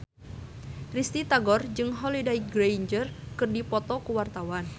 Risty Tagor jeung Holliday Grainger keur dipoto ku wartawan